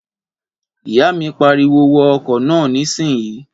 Ìyá mi pariwo wọ ọkọ̀ náà nísìínyi!